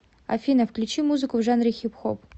афина включи музыку в жанре хип хоп